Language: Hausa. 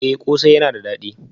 Eh kose yana da dadi